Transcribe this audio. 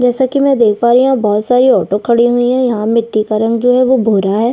जैसे की में देख पा रही हूँ बहोत सारी ऑटो खड़ी हुई है यहाँ मिट्टी का रंग है जो भूरा है।